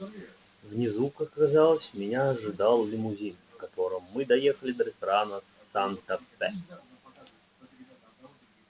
внизу как оказалось меня ожидал лимузин в котором мы доехали до ресторана санта фе